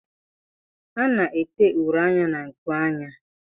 A na-ete uri anya na nkuanya.